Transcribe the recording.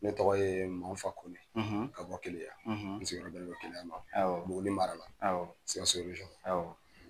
Ne tɔgɔ ye manfa KONE ka bɔ kelenya sigiyɔrɔ bƐnnen bƐ kelenya ma Buguni mara sikaso